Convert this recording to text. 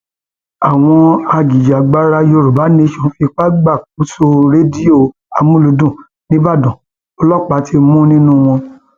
àwọn ajìjàgbara yorùbá nation fipá gbàkóso rédíò amulùdún nibọdàn ọlọpàá ti mú nínú wọn